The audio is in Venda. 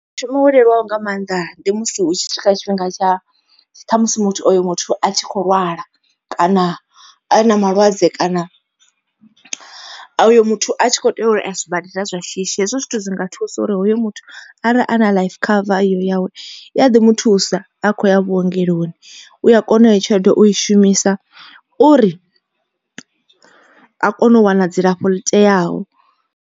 Mushumo wo leluwaho nga maanḓa ndi musi hu tshi swika tshifhinga ṱhamusi muthu oyo muthu a tshi kho lwala, kana a na malwadze kana oyo muthu a tshi kho tea uri a sibadela zwa shishi. Hezwo zwithu dzi nga thusa uri hoyu muthu arali a na life cover iyo yawe i a ḓi muthusa a kho ya vhuongeloni. U a kona u iyo tshelede u i shumisa uri a kone u wana dzilafho ḽi teaho.